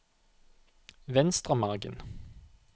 Venstremargen